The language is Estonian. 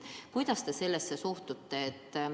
Kuidas te sellesse süüdistusse suhtute?